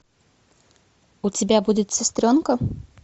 у тебя будет сестренка